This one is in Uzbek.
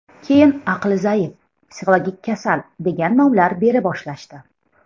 Keyin aqli zaif, psixologik kasal, degan nomlar bera boshlashdi.